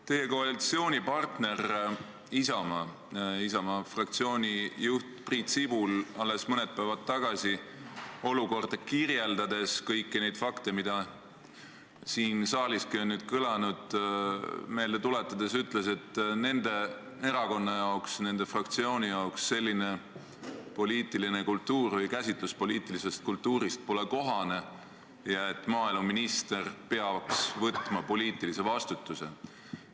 Teie koalitsioonipartneri Isamaa fraktsiooni juht Priit Sibul alles mõni päev tagasi olukorda kirjeldades ja kõiki neid fakte, mis siin saaliski on nüüd kõlanud, meelde tuletades, ütles, et nende erakonna jaoks, nende fraktsiooni jaoks ei ole selline poliitiline kultuur või käsitlus poliitilisest kultuurist kohane ja et maaeluminister peaks võtma poliitilise vastutuse.